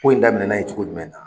Ko in daminɛ na yen cogo jumɛn na.